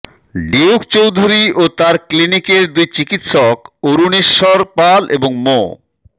Duke Chowdhury ও তার ক্লিনিকের দুই চিকিৎসক অরুনেশ্বর পাল এবং মো